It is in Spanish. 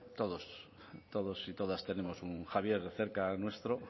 todos y todas tenemos un javier cerca nuestro o